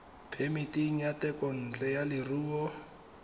phemiti ya thekontle ya leruo